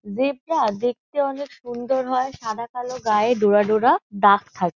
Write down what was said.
Zebra দেখতে অনেক সুন্দর হয় সাদা কালো গায়ে ডোরা ডোরা দাগ থাকে।